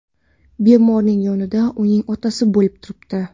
Bemorning yonida uning otasi bo‘lib turibdi.